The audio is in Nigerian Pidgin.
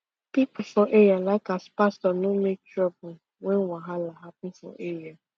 people for area like as pastor no make trouble when wahala happen for area